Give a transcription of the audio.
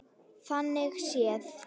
Þannig séð.